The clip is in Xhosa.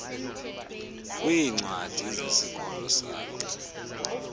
kwiincwadi zesikolo sakhe